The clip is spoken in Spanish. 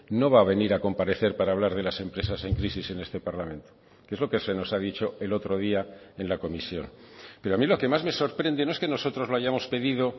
no va a venir a comparecer para hablar de las empresas en crisis en este parlamento que es lo que se nos ha dicho el otro día en la comisión pero a mí lo que más me sorprende no es que nosotros lo hayamos pedido